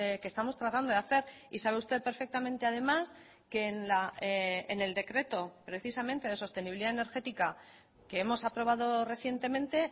que estamos tratando de hacer y sabe usted perfectamente además que en el decreto precisamente de sostenibilidad energética que hemos aprobado recientemente